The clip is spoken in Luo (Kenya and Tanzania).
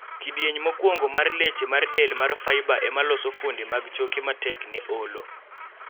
kidieny mokwongo mar leche mar del mar fiber emaloso fuonde mag choke matek ne olo